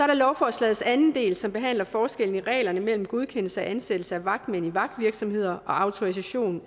der lovforslagets anden del som behandler forskellen i reglerne mellem godkendelse og ansættelse af vagtmænd i vagtvirksomheder og autorisation